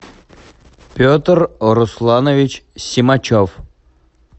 петр русланович семачев